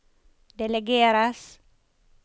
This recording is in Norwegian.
delegeres